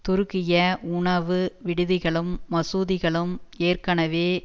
துருக்கிய உணவு விடுதிகளும் மசூதிகளும் ஏற்கனவே